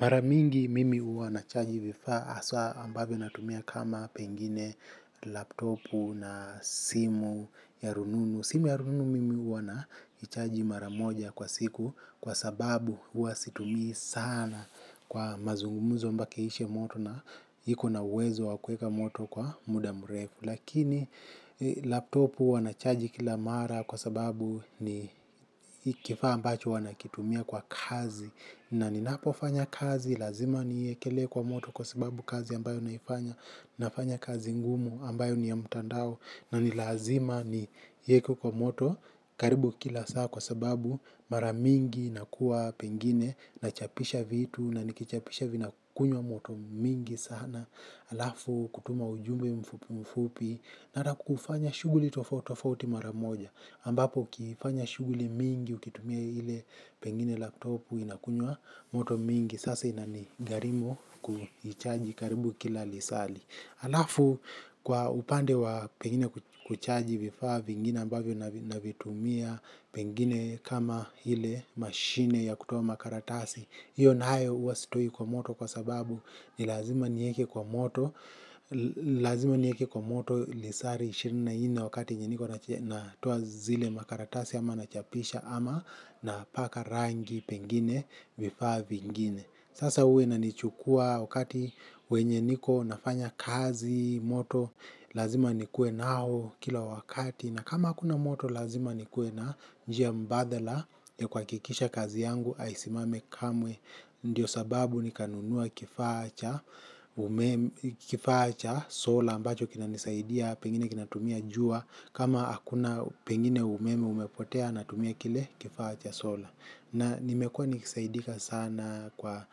Mara mingi mimi huwa nachaji vifaa haswa ambavyo natumia kama pengine laptopu na simu ya rununu. Simu ya rununu mimi huwa na ichaji mara moja kwa siku kwa sababu huwa situmii sana kwa mazungumuzo mpaka iishe moto na iko na uwezo wa kueka moto kwa muda mrefu. Lakini laptopu wanachaji kila mara kwa sababu ni kifaa ambacho wanakitumia kwa kazi. Na ninapofanya kazi, lazima niiekelee kwa moto kwa sababu kazi ambayo naifanya. Nafanya kazi ngumu ambayo ni ya mutandao. Na ni lazima niieke kwa moto karibu kila saa kwa sababu mara mingi nakuwa pengine. Nachapisha vitu na nikichapisha vinakunywa moto mingi sana alafu kutuma ujumbe mfupu mfupi mara kufanya shughuli tofauti tofauti mara moja ambapo ukiifanya shughuli mingi ukitumia ile pengine laptopu inakunywa moto mingi sasa inanigharimu kuichaji karibu kila lisali alafu kwa upande wa pengine kuchaji vifaa vingine ambavyo navitumia pengine kama ile mashine ya kutuoa makaratasi iyo nayo huwa sitoi kwa moto kwa sababu ni lazima nieke kwa moto, lazima nieke kwa moto lisari ishirini na nne wakati yenye niko natoa zile makaratasi ama nachapisha ama napaka rangi pengine vifaa vingine. Sasa huwa inanichukua wakati wenye niko nafanya kazi, moto, lazima nikue nao kila wakati. Na kama hakuna moto lazima nikue na njia mbadala ya kuhakikisha kazi yangu haisimami kamwe. Ndiyo sababu nikanunua kifaa cha kifaa cha sola ambacho kinanisaidia pengine kinatumia jua. Kama hakuna pengine umeme umepotea natumia kile kifaa cha sola. Na nimekua nikisaidika sana kwa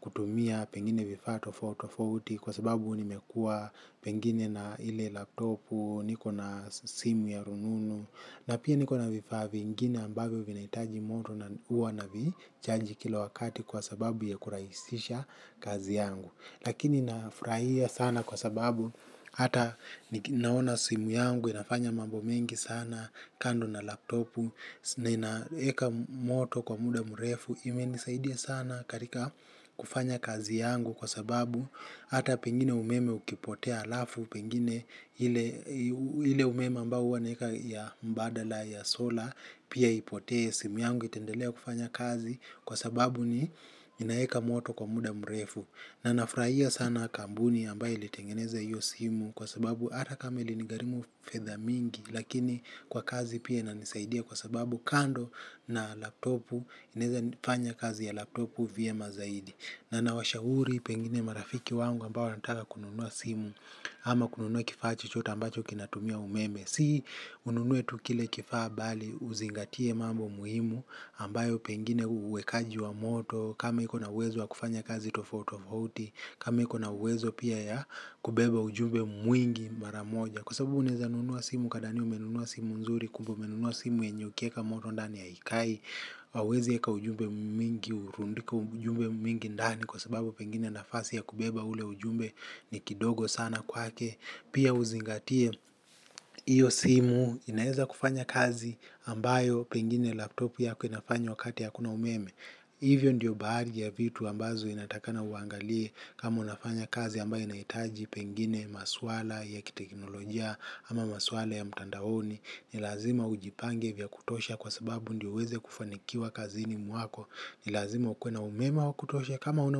kutumia pengine vifaa tofauti tofauti kwa sababu nimekua pengine na ile laptopu, niko na simu ya rununu na pia niko na vifaa vingine ambavyo vinahitaji moto na huwa navichaji kila wakati kwa sababu ya kurahisisha kazi yangu lakini nafurahia sana kwa sababu hata naona simu yangu, inafanya mambo mengi sana kando na laptopu, na inaeka moto kwa muda mrefu imenisaidia sana katika kufanya kazi yangu kwa sababu hata pengine umeme ukipotea alafu pengine hile umeme ambao huwa naeka ya mbadala ya sola pia ipotee simu yangu itaendelea kufanya kazi kwa sababu ni inaeka moto kwa muda mrefu. Na nafurahia sana kampuni ambayo ilitengeneza hiyo simu kwa sababu hata kama ilinigharimu fedha mingi lakini kwa kazi pia inanisaidia kwa sababu kando na laptopu inaeza fanya kazi ya laptopu vyema zaidi. Na nawashauri pengine marafiki wangu ambao wanataka kununua simu. Ama kununua kifaa chochote ambacho kinatumia umeme. Si ununue tu kile kifaa bali uzingatie mambo muhimu ambayo pengine uwekaji wa moto kama iko na uwezo wa kufanya kazi tofauti tofauti kama iko na uwezo pia ya kubeba ujumbe mwingi mara moja. Kwa sababu unaeza nunua simu ukadhania umenunua simu nzuri. Kumbe umenunua simu yenye ukieka moto ndani haikai hauezi eka ujumbe mingi, urundike ujumbe mingi ndani kwa sababu pengine nafasi ya kubeba ule ujumbe ni kidogo sana kwake. Pia uzingatie hiyo simu inaeza kufanya kazi ambayo pengine laptopu yako inafanya wakati hakuna umeme. Hivyo ndiyo baadhi ya vitu ambazo inatakikana uangalie kama unafanya kazi ambayo inahitaji pengine maswala ya kiteknolojia ama maswala ya mtandaoni. Ni lazima ujipange vya kutosha kwa sababu ndiyo uweze kufanikiwa kazini mwako. Ni lazima ukue na umeme wa kutosha kama huna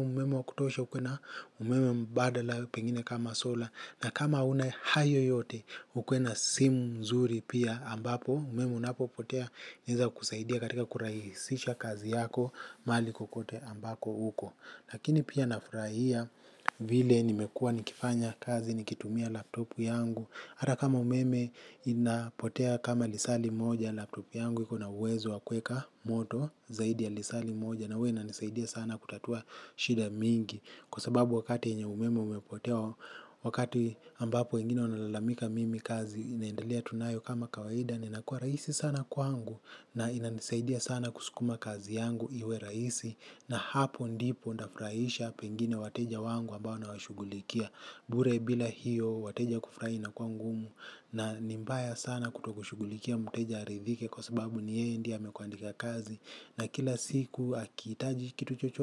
umeme wa kutosha ukue na umeme mbadala pengine kama sola. Na kama huna hayo yote ukue na simu mzuri pia ambapo, umeme unapo potea inaezakusaidia katika kurahisisha kazi yako mahali kokote ambako uko. Lakini pia nafurahia vile nimekua nikifanya kazi nikitumia laptopu yangu. Hata kama umeme inapotea kama lisali moja laptopu yangu iko na uwezo wa kueka moto zaidi ya lisali moja na huwa inanisaidia sana kutatua shida mingi. Kwa sababu wakati yenye umeme umepotea wakati ambapo wengine wanalalamika mimi kazi inaendelea tu nayo kama kawaida. Ninakua rahisi sana kwangu na inanisaidia sana kusukuma kazi yangu iwe raisi. Na hapo ndipo nitafurahisha pengine wateja wangu ambao nawashughulikia. Bure bila hiyo wateja kufurahi inakuwa ngumu na ni mbaya sana kutokushughulikia mteja aridhike. Kwa sababu ni yeye ndiye amekuandika kazi na kila siku akihitaji kitu chochote.